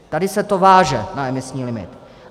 Tady se to váže na emisní limit.